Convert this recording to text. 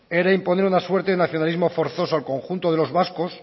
era imponer una suerte de nacionalismo forzoso al conjunto de los vascos